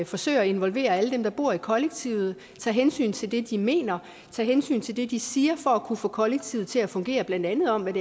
forsøger at involvere alle dem der bor i kollektivet tager hensyn til det de mener og tager hensyn til det de siger for at kunne få kollektivet til at fungere blandt andet om